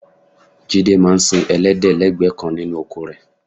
Jídé máa sin ẹlẹ́dẹ̀ lẹ́gbẹ̀ẹ́ kan nínú oko rẹ